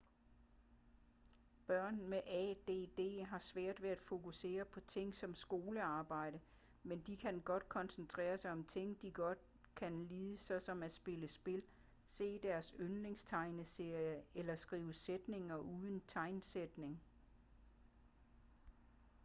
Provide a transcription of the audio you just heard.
børn med add har svært ved at fokusere på ting som skolearbejde men de kan godt koncentrere sig om ting de godt kan lide såsom at spille spil se deres yndlingstegneserier eller skrive sætninger uden tegnsætning